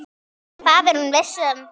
Það er hún viss um.